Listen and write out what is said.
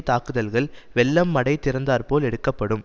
தாக்குதல்கள் வெள்ளம் மடை திறந்தாற்போல் எடுக்கப்படும்